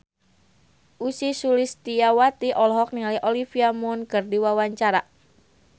Ussy Sulistyawati olohok ningali Olivia Munn keur diwawancara